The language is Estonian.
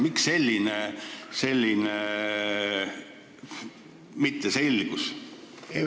Miks selline mitteselgus?